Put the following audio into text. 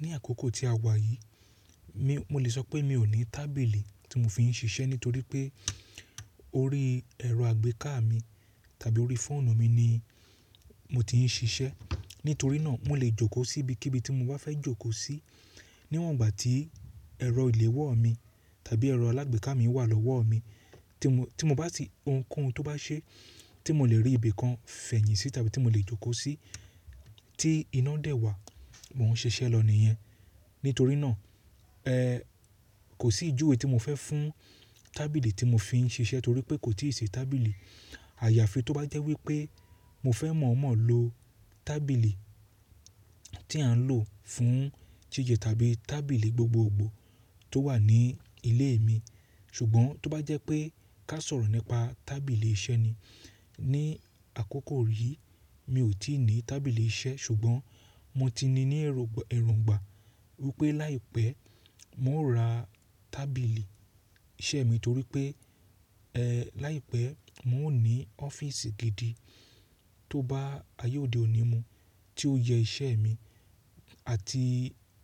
Ní àkókò tí a wà yìí, mi, mo lè sọ pé mi ò ní tábìlì tí mo fi ń ṣiṣẹ́ nítorí pé orí ẹ̀rọ àgbéká mi tàbí orí fóònù mi ni mo ti ń ṣiṣẹ́. Nítorí náà mo lè jókòó síbi kí ibi tí mo bá fẹ́ jókòó sí níwọ̀n ìgbà tí ẹ̀rọ ìléwọ́ mi tàbí ẹ̀rọ alágbéká mi wà lọ́wọ́ mi tí mo, tí mo bá sì ohunkóhun tó bá ṣe tí mo lè rí ibi kan fẹ̀yìntì tàbí tí mo lè jókòó sí tí iná dẹ̀ wà, mo ń ṣe iṣẹ́ lọ ní iyẹn. Nítorí náà, ẹ́, kò sí ìjuwe tí mo fẹ́ fún tábìlì tí mo fi ń ṣiṣẹ́ torí pé kò tí ì ṣe tábìlì àyàfi tó bá jẹ́ wípé mo fẹ́ mọ̀ọ́mọ̀ lo tábìlì tí à ń lò fún jíjẹ tàbí tábìlì gbogbogbò tó wà ní ilé mi. Ṣùgbọ́n tó bá jẹ́ pé ká sọ̀rọ̀ nípa tábìlì iṣẹ́ ni, ní àkókò yìí mi ò tí ì ní tábìlì iṣẹ́ ṣùgbọ́n mo ti ní ẹ̀roǹgbà wípé láìpẹ́ mo ó ra tábìlì iṣẹ́ mi torí pé, ẹ́, láìpẹ́ mo ó ní ọ́fíìsì gidi tó bá ayé òde òní mu tí ó yẹ iṣẹ́ mi àti